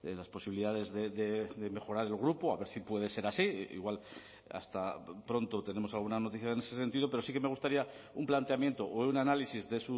las posibilidades de mejorar el grupo a ver si puede ser así igual hasta pronto tenemos alguna noticia en ese sentido pero sí que me gustaría un planteamiento o un análisis de